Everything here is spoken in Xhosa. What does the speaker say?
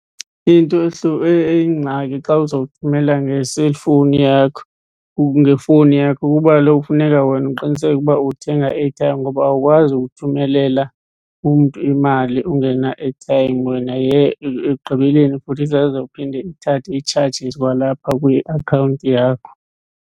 Into eyingxaki xa uzawuthumela ngeselifowuni yakho or ngefowuni yakho kukuba kaloku kufuneka wena uqiniseke ukuba uthenga i-airtime ngoba awukwazi ukuthumelela umntu imali ungena-airtime wena . Ekugqibeleni futhi isezawuphinde ithathe ii-charges kwalapha kwiakhawunti yakho.